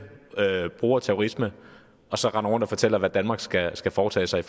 bruger terrorisme og som render rundt og fortæller hvad danmark skal skal foretage sig